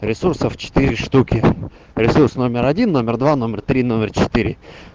ресурсов четыре штуки ресурс номер один номер два номер три номер четыре